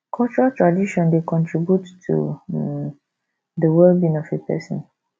cultural tradition dey contribute to um di wellbeing of a person